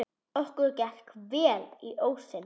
Okkur gekk vel inn ósinn.